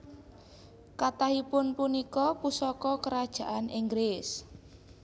Kathahipun punika pusaka Kerajaan Inggris